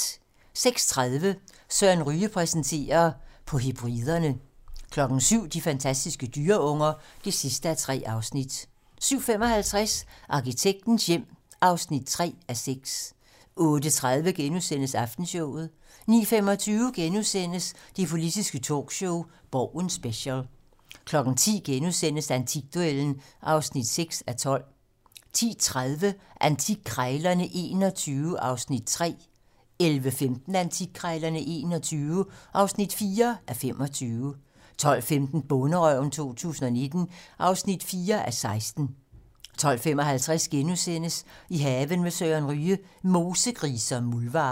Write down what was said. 06:30: Søren Ryge præsenterer: På Hebriderne 07:00: De fantastiske dyreunger (3:3) 07:55: Arkitektens hjem (3:6) 08:30: Aftenshowet * 09:25: Det politiske talkshow - Borgen special * 10:00: Antikduellen (6:12)* 10:30: Antikkrejlerne XXI (3:25) 11:15: Antikkrejlerne XXI (4:25) 12:15: Bonderøven 2019 (4:16) 12:55: I haven med Søren Ryge: Mosegrise og muldvarpe *